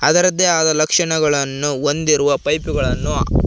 ಅದರದ್ದೇ ಅದ ಲಕ್ಷಣಗಳನ್ನು ಹೊಂದಿರುವ ಪೈಪುಗಳನ್ನು--